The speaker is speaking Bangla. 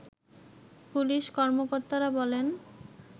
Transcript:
পুলিশ কর্মকর্তারা বলেন